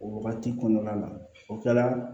O wagati kɔnɔna na o kɛra